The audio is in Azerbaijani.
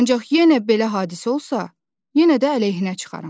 Ancaq yenə belə hadisə olsa, yenə də əleyhinə çıxaram.